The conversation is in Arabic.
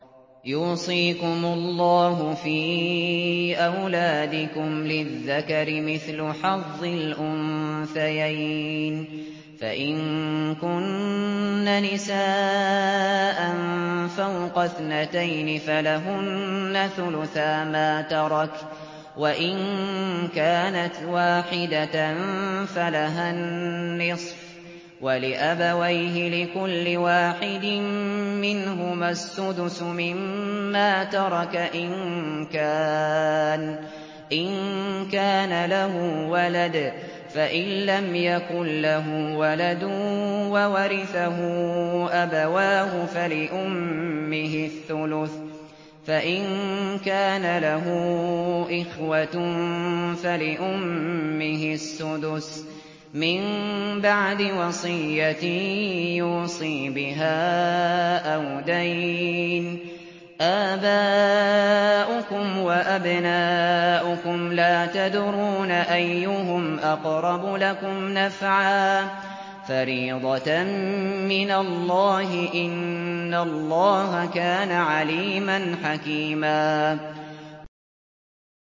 يُوصِيكُمُ اللَّهُ فِي أَوْلَادِكُمْ ۖ لِلذَّكَرِ مِثْلُ حَظِّ الْأُنثَيَيْنِ ۚ فَإِن كُنَّ نِسَاءً فَوْقَ اثْنَتَيْنِ فَلَهُنَّ ثُلُثَا مَا تَرَكَ ۖ وَإِن كَانَتْ وَاحِدَةً فَلَهَا النِّصْفُ ۚ وَلِأَبَوَيْهِ لِكُلِّ وَاحِدٍ مِّنْهُمَا السُّدُسُ مِمَّا تَرَكَ إِن كَانَ لَهُ وَلَدٌ ۚ فَإِن لَّمْ يَكُن لَّهُ وَلَدٌ وَوَرِثَهُ أَبَوَاهُ فَلِأُمِّهِ الثُّلُثُ ۚ فَإِن كَانَ لَهُ إِخْوَةٌ فَلِأُمِّهِ السُّدُسُ ۚ مِن بَعْدِ وَصِيَّةٍ يُوصِي بِهَا أَوْ دَيْنٍ ۗ آبَاؤُكُمْ وَأَبْنَاؤُكُمْ لَا تَدْرُونَ أَيُّهُمْ أَقْرَبُ لَكُمْ نَفْعًا ۚ فَرِيضَةً مِّنَ اللَّهِ ۗ إِنَّ اللَّهَ كَانَ عَلِيمًا حَكِيمًا